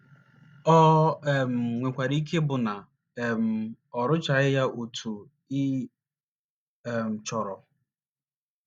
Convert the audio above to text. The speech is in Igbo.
O um nwekwara ike ịbụ na um ọ rụtachaghị ya otú ị um chọrọ.